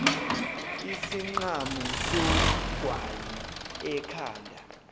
isinqamu sogwayi ekhanda